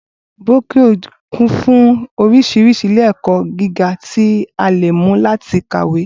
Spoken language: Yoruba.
Brónkíò kún fún orísirísi ilé èkọ́ gíga tí ó leè mú láti kàwé